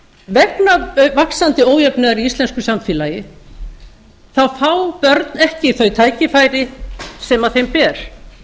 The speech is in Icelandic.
vegna vaxandi ójöfnuðar í íslensku samfélagi fá börn ekki þau tækifæri sem þeim ber